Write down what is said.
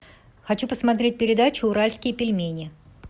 хочу посмотреть передачу уральские пельмени